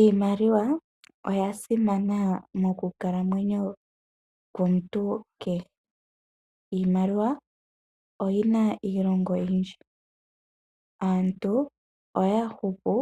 Iimaliwa oya simana moku kala mwenyo komuntu kehe. Iimaliwa iilonga oyindji, aantu ohaya hupu